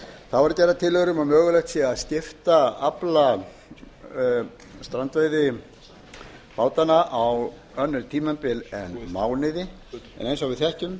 þá eru gerðar tillögur um að mögulegt sé að skipta afla strandveiðibátanna á önnur tímabil en mánuði en eins og